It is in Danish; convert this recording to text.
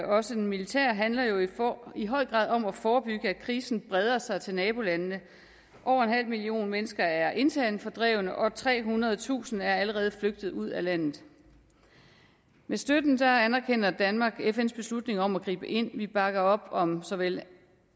også den militære handler jo i høj grad om at forebygge at krisen breder sig til nabolandene over en halv million mennesker er internt fordrevne og trehundredetusind er allerede flygtet ud af landet med støtten anerkender danmark fns beslutning om at gribe ind vi bakker op om såvel